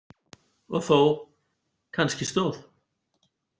Og þó, kannski stóð